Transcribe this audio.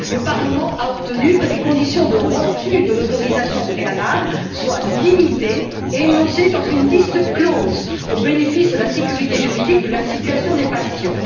Le Parlement a obtenu que les conditions de refus de l'autorisation préalable soient limitées et énoncées dans une liste close, au bénéfice de la sécurité juridique de la situation des patients.